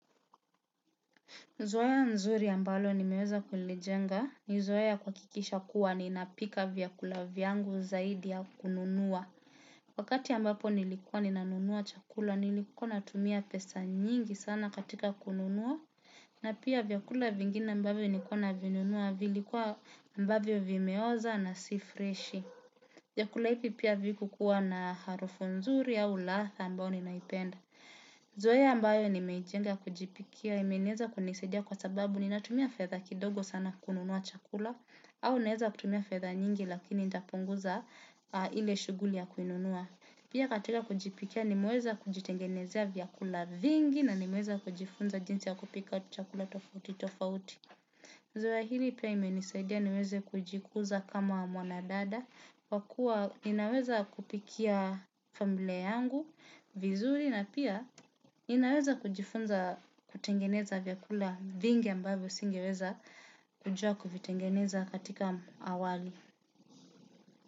Zoea mzuri ya ambalo nimeweza kulijenga ni zoea ya kuhakikisha kuwa ninapika vyakula vyangu zaidi ya kununua. Wakati ambapo nilikuwa ninanunua chakula nilikuwa natumia pesa nyingi sana katika kununua. Na pia vyakula vingine ambavyo nilikua navinunua vilikuwa ambavyo vimeoza na si freshi. Vyakula hivi pia havikua na harufu nzuri na ladha ambayo naipenda. Zoea ambayo nimeijenga kujipikia, imeweza kunisadia kwa sababu ninatumia fedha kidogo sana kununua chakula, au naeza kutumia fedha nyingi lakini nitapunguza ile shughuli ya kununua. Pia katika kujipikia nimeweza kujitengenezea vyakula vingi na nimeweza kujifunza jinsi ya kupika chakula tofauti tofauti. Zoea hili pia imenisaidia niweze kujikuza kama mwanadada, kwa kuwa ninaweza kupikia familia yangu, vizuri na pia ninaweza kujifunza kutengeneza vyakula vingi ambayo singeweza kujua kuvitengeneza katika awali.